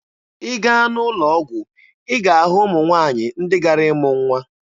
Ị gaa n'ụlọ ọgwụ, ị ga-ahụ ụmụ nwaanyị ndị gara ịmụ nwa.